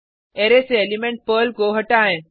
array से element Perl को हटाएँ